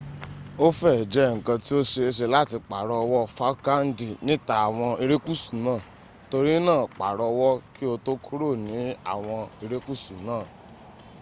o fee je nkan ti o seese lati paro owo falklandi nita awon irekusu naa tori naa paro owo ki o to kuro ni awon irekusu naa